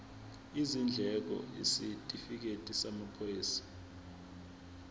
izindleko isitifikedi samaphoyisa